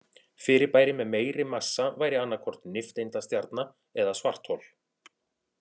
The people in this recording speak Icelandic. Fyrirbæri með meiri massa væri annað hvort nifteindastjarna eða svarthol.